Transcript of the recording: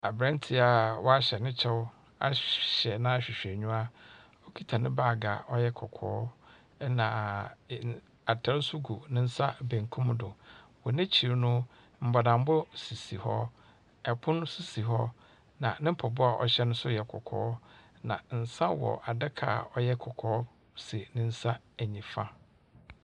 Aberanteɛ a wahyɛ ne kyɛw ahyɛ n'ahwehwɛniwa, ɔkita ne baage a ɔyɛ kɔkɔɔ, ɛnna atar nso gu ne nsa benkum do. Wɔn ekyir no, bɔdambɔ sisi hɔ, pono nso si hɔ, ɛnna ne mpaboa a ɔhyɛ no nso yɛ kɔkɔɔ, na nsa wɔ adaka ɔyɛ kɔkɔɔ si ne nsa nifa.